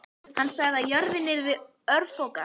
Hann sagði að jörðin yrði örfoka.